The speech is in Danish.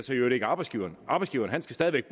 arbejdsgiveren arbejdsgiveren skal stadig